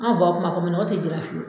An faw kun m'a fɔ manɔgɔ tɛ jira fiyewu.